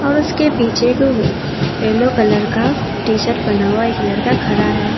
और उसके पीछे येलो कलर का टी शर्ट पहना हुआ एक लड़का खड़ा है।